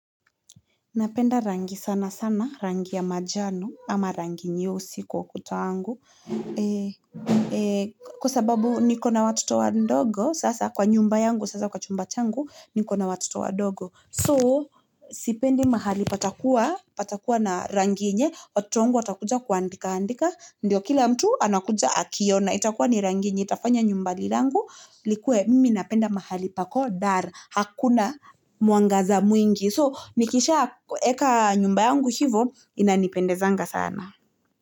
Napenda rangi sana sana, rangi ya manjano ama rangi nyeusi kwa ukuta wangu, kwa sababu niko na watoto wadogo sasa kwa nyumba yangu sasa kwa chumba changu niko na watoto wadogo So sipendi mahali patakua, patakua na rangi yenye, watoto wangu wa takuja kuaandika andika, ndio kila mtu anakuja akiona, itakua ni rangi yenye, itafanya nyumba langu, likwe mminapenda mahali pako dar, hakuna mwangaza mwingi, so nikisha weka nyumba yangu hivo, ina nipendezanga sana.